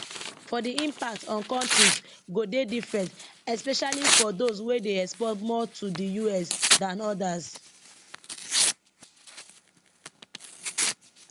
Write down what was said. but di impact on kontris go dey different especially for dose wey dey export more to di us than odas